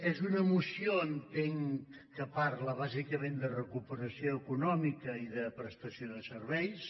és una moció entenc que parla bàsicament de recuperació econòmica i de prestació de serveis